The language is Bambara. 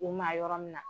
U ma yɔrɔ min na